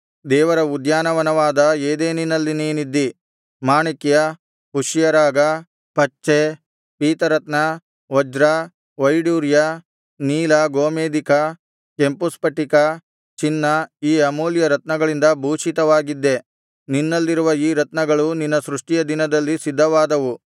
ದೇವರ ಉದ್ಯಾನವನವಾದ ಏದೆನಿನಲ್ಲಿ ನೀನಿದ್ದೆ ಮಾಣಿಕ್ಯ ಪುಷ್ಯರಾಗ ಪಚ್ಚೆ ಪೀತರತ್ನ ವಜ್ರ ವೈಡೂರ್ಯ ನೀಲ ಗೋಮೇಧಿಕ ಕೆಂಪು ಸ್ಫಟಿಕ ಚಿನ್ನ ಈ ಅಮೂಲ್ಯ ರತ್ನಗಳಿಂದ ಭೂಷಿತವಾಗಿದ್ದೆ ನಿನ್ನಲ್ಲಿರುವ ಈ ರತ್ನಗಳು ನಿನ್ನ ಸೃಷ್ಟಿಯ ದಿನದಲ್ಲಿ ಸಿದ್ಧವಾದವು